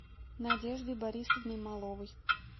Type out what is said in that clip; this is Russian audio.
надеждой борисовной маловой